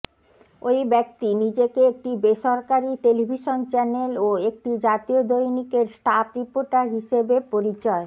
ওই ব্যক্তি নিজেকে একটি বেসরকারি টেলিভিশন চ্যানেল ও একটি জাতীয় দৈনিকের স্টাফ রিপোর্টার হিসেবে পরিচয়